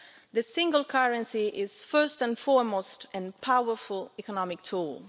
The single currency is, first and foremost, a powerful economic tool.